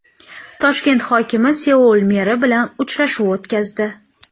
Toshkent hokimi Seul meri bilan uchrashuv o‘tkazdi.